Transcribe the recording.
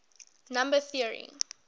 number theory